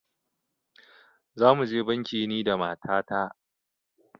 Za mu je banki ni da mata ta